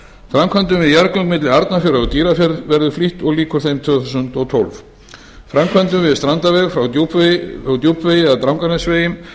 framkvæmdum við jarðgöng milli arnarfjarðar og dýrafjarðar verður flýtt og lýkur þeim tvö þúsund og tólf framkvæmdum við strandaveg frá djúpvegi að drangsnesvegi